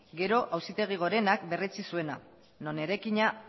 gero auzitegi gorenak berretsi zuena non eraikina